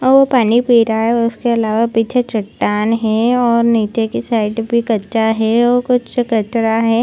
वो पानी पी रहा है उसके अलावा पीछे चट्टान है और निचे के साइड पे कच्चा है और कुछ कचरा है।